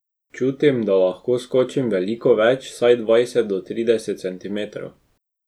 Čutim, da lahko skočim veliko več, vsaj dvajset do trideset centimetrov.